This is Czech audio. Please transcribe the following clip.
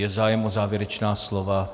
Je zájem o závěrečná slova?